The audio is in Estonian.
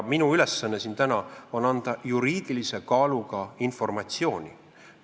Minu ülesanne siin täna on anda juriidilise kaaluga informatsiooni.